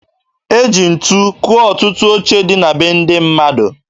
E ji ntu kụọ ọtụtụ oche dị na be ndị mmadụ